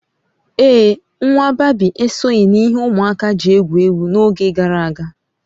Ee, nwa bébí esoghị n'ihe ụmụaka ji egwu egwu n'oge gara aga